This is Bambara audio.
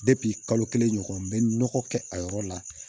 kalo kelen ɲɔgɔn n bɛ nɔgɔ kɛ a yɔrɔ la